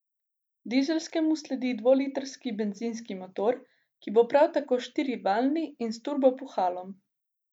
Dizelskemu sledi dvolitrski bencinski motor, ki bo prav tako štirivaljni in s turbopuhalom.